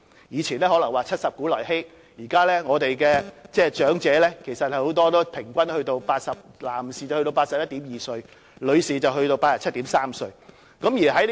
以往可能說"七十古來稀"，但現在長者的平均年齡男士達 81.2 歲，女士則達 87.3 歲。